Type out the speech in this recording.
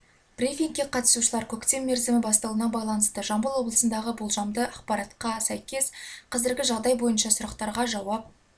брифингке қатысушылар көктем мерзімі басталуына байланысты жамбыл облысындағы болжамды ақпаратқа сәйкес қазіргі жағдай бойынша сұрақтарға жауап